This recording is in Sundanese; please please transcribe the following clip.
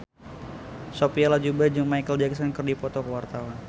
Sophia Latjuba jeung Micheal Jackson keur dipoto ku wartawan